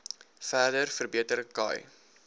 verder verbeter khai